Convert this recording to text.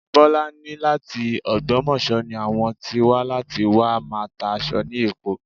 Bọ́lá ní láti ògbómọ̀ṣọ́ ni àwọn tí wà láti wá máa tá aṣọ ni Èkó